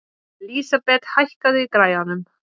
Lísabet, hækkaðu í græjunum.